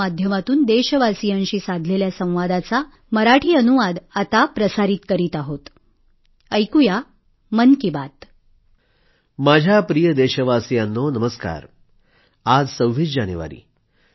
माझ्या प्रिय देशवासियांनो नमस्कार आज 26 जानेवारी आहे